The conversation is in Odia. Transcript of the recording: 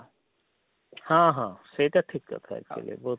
ହଁ ହଁ ସେଇଟା ଠିକ କଥା actually ବହୁତ